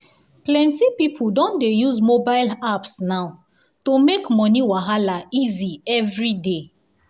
plenty people don dey use mobile apps now to make money wahala easy every day.